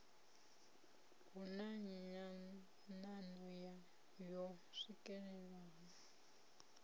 hu na nyanano yo swikelelwaho